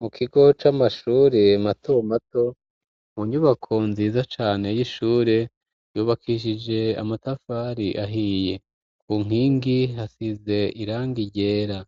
Mu kigo c'amashure matomato mu nyubako nziza cane y'ishure yubakishije amatafari ahiye ku nkingi hasize iranga iryera